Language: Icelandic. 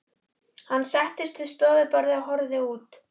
Hann settist við stofuborðið og horfði út.